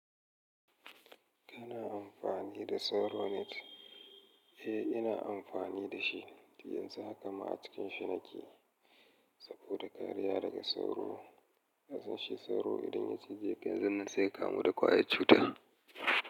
Kana amfani da Sauro Net? Eh, ina amfani da shi, yanzu haka ma a cikin shi nake saboda kariya daga sauro. Domin shi sauro idan ya cije ka yanzun nan sai kamu da ƙwayar cuta.